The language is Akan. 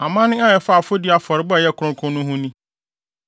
“ ‘Amanne a ɛfa afɔdi afɔrebɔ a ɛyɛ kronkron ho no ni: